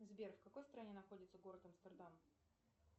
сбер в какой стране находится город амстердам